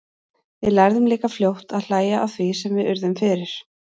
Við lærðum líka fljótt að hlæja að því sem við urðum fyrir.